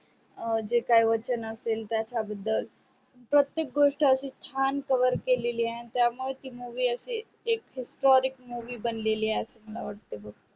जे काही वचन असेल त्याच्या बदल प्रतेक गोष्ट अशी छान cover केलेली आहे त्या मूळे ती movie अशी एक historic असे मला वाटते बग